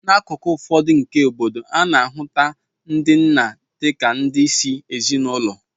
N'akụkụ ụfọdụ nke obodo a, a na-ahụta ndị nna dị ka ndị isi ezinụlọ